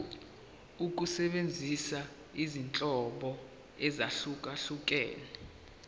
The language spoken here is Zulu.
ukusebenzisa izinhlobo ezahlukehlukene